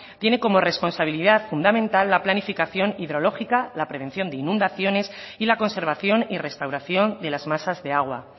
tiene como responsabilidad fundamental la planificación hidrológica la prevención de inundaciones y la conservación y restauración de las masas de agua